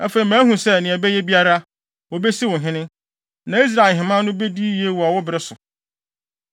Afei mahu sɛ, nea ɛbɛyɛ biara, wobesi wo ɔhene, na Israel ahemman no bedi yiye wɔ wo bere so.